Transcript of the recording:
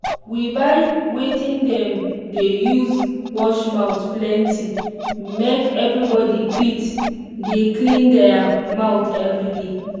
we buy wetin dem dey use wash mouth plenty make everybody fit dey clean their mouth everyday.